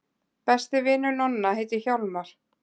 Besti vinur Nonna heitir Hjálmar.